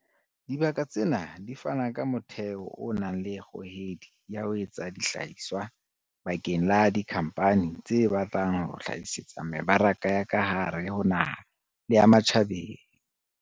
Dibaka tsena di fana ka motheo o nang le kgohedi ya ho etsa dihlahiswa bakeng la dikhampani tse batlang ho hlahisetsa mebaraka ya ka hare ho naha le ya ma tjhabeng.